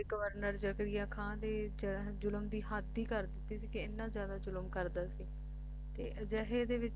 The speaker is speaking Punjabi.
ਗਵਰਨਰ ਜਕਰੀਆ ਖਾਨ ਦੀ ਜ਼ੁਲਮ ਦੀ ਹੱਦ ਹੀ ਕਰ ਦਿੱਤੀ ਸੀ ਕਿ ਐਨਾ ਜਿਆਦਾ ਜ਼ੁਲਮ ਕਰਦਾ ਸੀ ਤੇ ਅਜਿਹੇ ਦੇ ਵਿਚ